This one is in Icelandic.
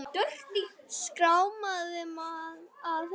Skráma á enni.